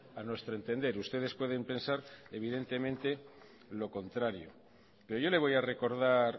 a nuestro entender ustedes pueden pensar evidentemente lo contrario pero yo le voy a recordar